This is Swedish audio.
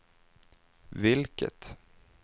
vilket